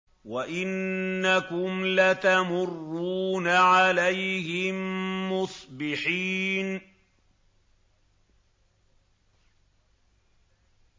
وَإِنَّكُمْ لَتَمُرُّونَ عَلَيْهِم مُّصْبِحِينَ